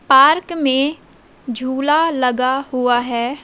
Park में झूला लगा हुआ है।